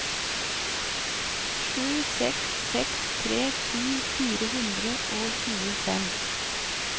sju seks seks tre ti fire hundre og tjuefem